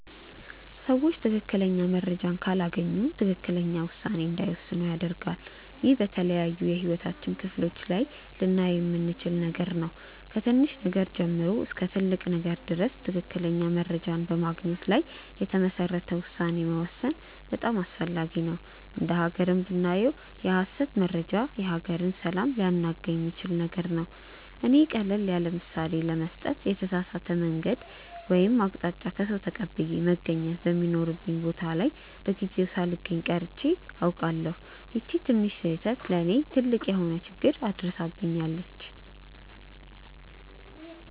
ሰዎች ትክክለኛ መረጃን ካላገኙ ትክክለኛ ውሳኔ እንዳይወስኑ ያደርጋል። ይህ በተለያዩ የህይወታችን ክፍሎች ላይ ልናየው የምንችል ነገር ነው። ከትንሽ ነገር ጀምሮ እስከ ትልቅ ነገር ድረስ ትክክለኛ መረጃን በማግኘት ላይ የተመሰረተ ውሳኔ መወሰን በጣም አስፈላጊ ነው። እንደ ሃገርም ብናየው የሐሰት መረጃ የሀገርን ሰላም ሊያናጋ የሚችል ነገር ነው። እኔ ቀለል ያለምሳሌ ለመስጠት የተሳሳተ የመንገድ ወይም አቅጣጫ ከሰዉ ተቀብዬ መገኘት በሚኖርብኝ ቦታ ላይ በጊዜው ሳልገኝ ቀርቼ አውቃለሁ። ይቺ ትንሽ ስህተት ለእኔ ትልቅ የሆነ ችግር አድርሳብኛለች።